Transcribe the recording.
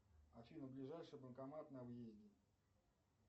афина ближайший банкомат на въезде